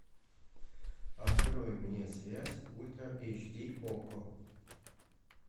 открой мне связь ультра эйч ди окко